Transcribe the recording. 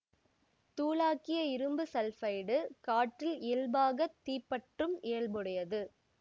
தூளாக்கிய இரும்பு சல்ஃபைடு காற்றில் இயல்பாகத் தீப்பற்றும் இயல்புடையது